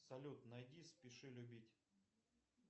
салют найди спеши любить